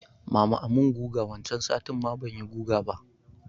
Mama a mun guga wancan satin ma banyi guga ba